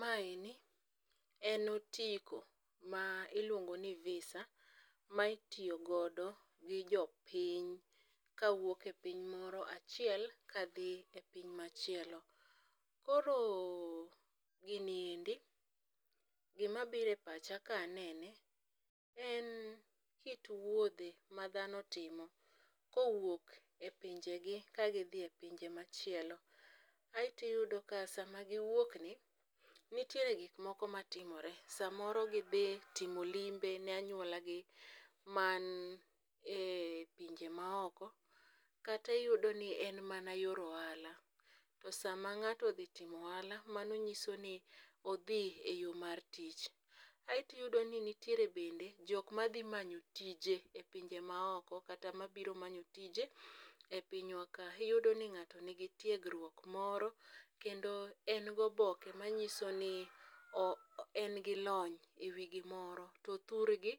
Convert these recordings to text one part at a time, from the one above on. Maeni en otiko ma iluongo ni VISA ma itiyo godo gi jopiny ka wuok e piny moro achiel kadhi e piny machielo. Koro gini endi gima bire pacha kanene en kit wuodhe ma dhano timo kowuok e pinje gi ka gidhi e pinje machielo. Aeti yudo ka sama giwuok ni nityiere gik moko matimore samoro gidhi timo limbe ne anyuola gi man e pinje maoko, kati yudo ni en mana yor ohala to sama ng'ato odhi timo ohala mano nyiso ni odhi e yo mar tich. Aeti yudo ni nitiere bende jok madhi manyo tije e pinje maoko kata mabiro manyo tije e pinywa ka iyudo ni ng'ato nigi tiegruok moro kendo en goboke manyiso ni o en gi lony ewi gimoro to thurgi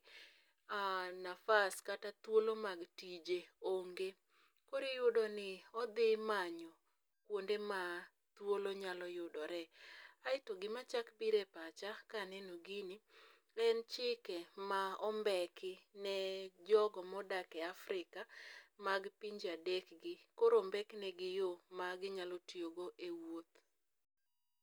nafas kata thuolo mag tije onge . Kori yudo ni odhi manyo kuonde ma thuolo nyalo yudore. Aeto gima chak bire pacha kaneno gini en chike ma ombeki ne jogo modak e Afrika mag pinje adek gi koro ombek negi yoo ma ginyalo tiyo go e wuoth.